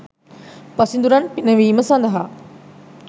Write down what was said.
පසිඳුරන් පිනවීම සඳහා